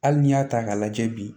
Hali n'i y'a ta k'a lajɛ bi